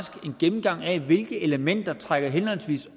en gennemgang af hvilke elementer der trækker henholdsvis